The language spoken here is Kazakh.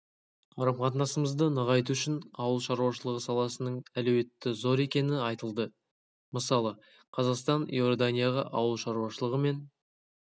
қарым-қатынасымызды нығайту үшін ауыл шаруашылығы саласының әлеуеті зор екені айтылды мысалы қазақстан иорданияға ауыл шаруашылығы мен